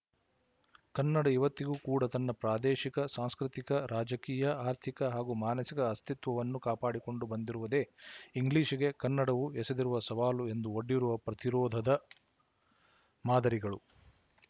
ಕನ್ನಡ ಇವತ್ತಿಗೂ ಕೂಡ ತನ್ನ ಪ್ರಾದೇಶಿಕ ಸಾಂಸ್ಕೃತಿಕ ರಾಜಕೀಯ ಆರ್ಥಿಕ ಹಾಗೂ ಮಾನಸಿಕ ಅಸ್ತಿತ್ವವನ್ನು ಕಾಪಾಡಿಕೊಂಡು ಬಂದಿರುವುದೇ ಇಂಗ್ಲಿಶಿಗೆ ಕನ್ನಡವು ಎಸೆದಿರುವ ಸವಾಲು ಹಾಗೂ ಒಡ್ಡಿರುವ ಪ್ರತಿರೋಧದ ಮಾದರಿಗಳು